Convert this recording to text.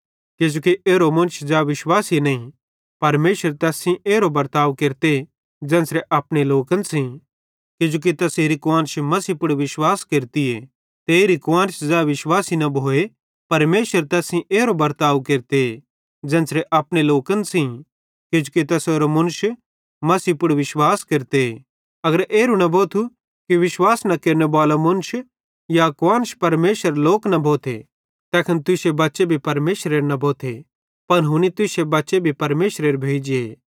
किजोकि एरो मुन्श ज़ै विश्वासी न भोए परमेशर तैस सेइं एरो बर्ताव केरते ज़ेन्च़रे अपने लोकन सेइं किजोकि तैसेरी कुआन्श मसीही आए ते एरी कुआन्श ज़ै विश्वासी न भोए परमेशर तैस सेइं एरो बर्ताव केरते ज़ेन्च़रे अपने लोकन सेइं किजोकि तैसेरो मुन्श मसीही आए अगर एरू न भोथू कि विश्वास न केरनेबालो मुन्श या कुआन्श परमेशरेरे लोक न भोथे तैखन तुश्शे बच्चे भी परमेशरेरे न भोथे पन हुनी तुश्शे बच्चे भी परमेशरेरे भोइ जे